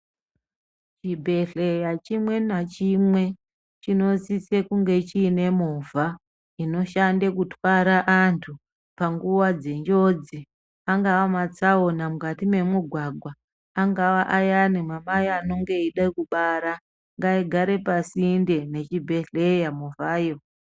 Chibhehlera chimwe nachimwe chinosise kunge chine movha inoshande kutwara anhu panguwa dzenjodzi angaa matsaona mukati memugwagwa angaawa ayani mamai anenge eide kubara ngaigare pasinde ne chibhehlera movha yo.